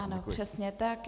Ano, přesně tak.